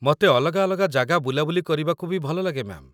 ମତେ ଅଲଗା ଅଲଗା ଜାଗା ବୁଲାବୁଲି କରିବାକୁ ବି ଭଲଲାଗେ, ମ୍ୟା'ମ୍ ।